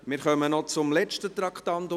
Wir kommen noch zum letzten Traktandum 93.